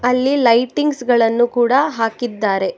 ಇಲ್ಲಿ ಲೈಟಿಂಗ್ಸ್ ಗಳನ್ನು ಕೂಡ ಹಾಕಿದ್ದಾರೆ.